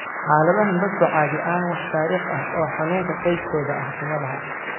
Xaaladahan, dadku caadi ahaan wax taariikh ah oo xanuunka qoyskooda ah kuma laha.